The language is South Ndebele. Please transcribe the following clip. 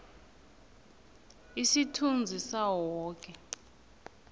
isithunzi sawo woke